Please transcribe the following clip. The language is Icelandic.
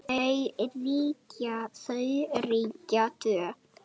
Þau ríkja tvö.